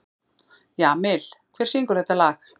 Jamil, hver syngur þetta lag?